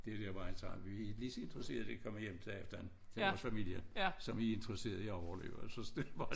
Det der hvor han sagde vi lige så interesserede i at komme hjem til aften til vores familier som I er interesserede i at overleve altså det var